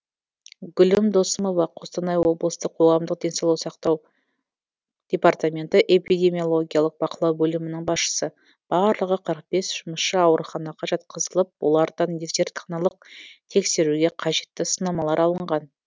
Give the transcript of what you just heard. гүлім досымова қостанай облыстық қоғамдық денсаулық қорғау департаменті эпидемиологиялық бақылау бөлімінің басшысы барлығы қырық бес жұмысшы ауруханаға жатқызылып олардан зертханалық тексеруге қажетті сынамалар алынған